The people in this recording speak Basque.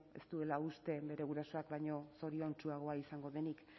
ez duela uste bere gurasoak baino zoriontsuagoa izango denik